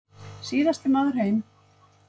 Síðasti maður heim.